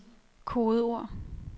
kodeord